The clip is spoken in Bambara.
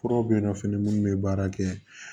Furaw bɛ yen nɔ fɛnɛ minnu bɛ baara kɛ